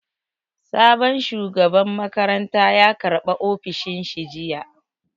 Sabon shugaban makaranta ya karɓa ofishin shi jiya